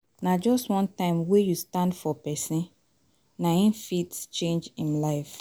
Na just one time wey you stand up for pesin, na em fit change em life